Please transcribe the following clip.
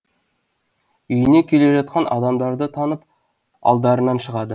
үйіне келе жатқан адамдарды танып алдарынан шығады